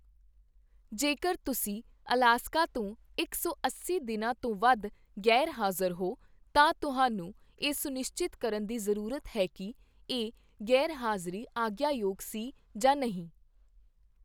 ਜੇਕਰ ਤੁਸੀਂ ਅਲਾਸਕਾ ਤੋਂ ਇਕ ਸੌ ਅੱਸੀ ਦਿਨਾਂ ਤੋਂ ਵੱਧ ਗ਼ੈਰ ਹਾਜ਼ਰ ਹੋ, ਤਾਂ ਤੁਹਾਨੂੰ ਇਹ ਸੁਨਿਸ਼ਚਿਤ ਕਰਨ ਦੀ ਜ਼ਰੂਰਤ ਹੈ ਕਿ, ਇਹ ਗ਼ੈਰ ਹਾਜ਼ਰੀ ਆਗਿਆ ਯੋਗ ਸੀ ਜਾਂ ਨਹੀਂ।